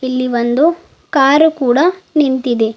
ಇಲ್ಲಿ ಒಂದು ಕಾರು ಕೂಡ ನಿಂತಿದೆ.